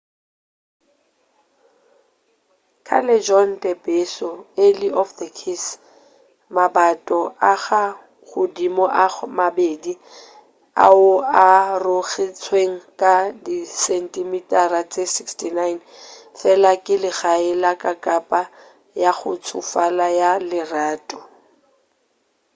callejon del beso alley of the kiss. mabato a ka godimo a mabedi ao a arogantšwego ka disentimitara tše 69 fela ke legae la kakapa ya go tšofala ya lerato